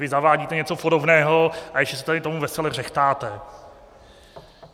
Vy zavádíte něco podobného a ještě se tady tomu vesele řehtáte.